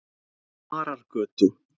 Marargötu